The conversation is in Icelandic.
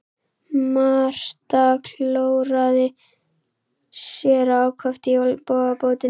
Marta klóraði sér ákaft í olnbogabótinni.